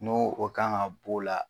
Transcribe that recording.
N'o kan ka bɔ o la